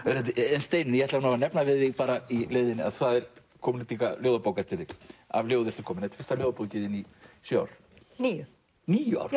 en Steinunn ég ætla að nefna við þig í leiðinni að það er komin út líka ljóðabók eftir þig af ljóði ertu komin þetta er fyrsta ljóðabókin þín í sjö ár níu níu ár